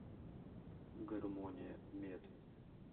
гармония мед